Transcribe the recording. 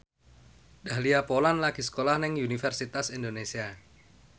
Dahlia Poland lagi sekolah nang Universitas Indonesia